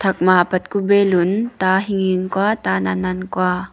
thakma apat ka beloon ta hinghing kua ta nan nan kua.